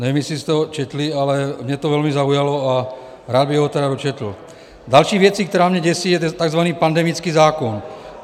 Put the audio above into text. Nevím, jestli jste ho četli, ale mě to velmi zaujalo a rád bych ho tedy dočetl: "Další věcí, která mě děsí, je takzvaný pandemický zákon.